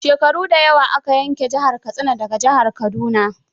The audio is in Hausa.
Shekaru da yawa aka yanki jihar Katsina da ga jihar Kaduna.